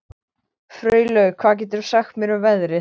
Freylaug, hvað geturðu sagt mér um veðrið?